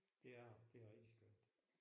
Det er det det er rigtig skønt